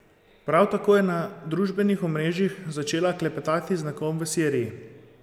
Prav tako je na družbenih omrežjih začela klepetati z nekom v Siriji.